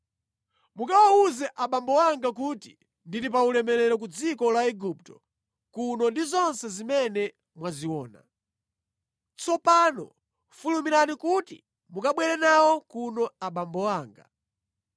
Mukawawuze abambo anga kuti ndili pa ulemerero ku dziko la Igupto kuno ndi zonse zimene mwaziona. Tsopano fulumirani kuti mukabwere nawo kuno abambo anga.”